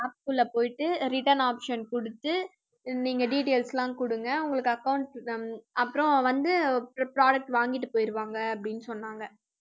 app க்குள்ள போயிட்டு return option கொடுத்து நீங்க details எல்லாம் கொடுங்க. உங்களுக்கு accounts அப்புறம் வந்து product வாங்கிட்டு போயிடுவாங்க அப்படின்னு சொன்னாங்க